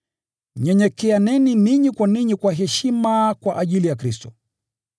Nyenyekeaneni ninyi kwa ninyi kwa heshima kwa ajili ya Kristo.